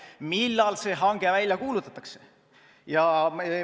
Millal see hange välja kuulutatakse?